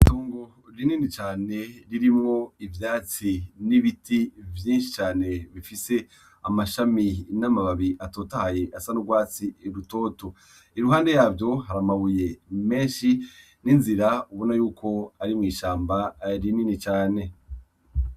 Itongo rinini cane ririmwo ivyatsi n’ibiti vyinshi cane bifise amashami n’amababi atotahaye asa n’urwatsi rutoto. Iruhande yavyo har’amabuye menshi n’inzira ubona yuko ari mw’ishamba rini cane.